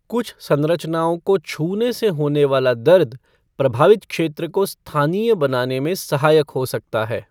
कुछ संरचनाओं को छूने से होने वाला दर्द प्रभावित क्षेत्र को स्थानीय बनाने में सहायक हो सकता है।